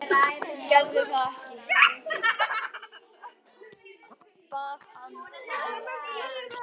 Gerðu það ekki syngja, bað Andri, lestu frekar.